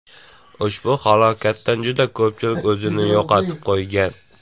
Ushbu halokatdan juda ko‘pchilik o‘zini yo‘qotib qo‘ygan.